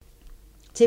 TV 2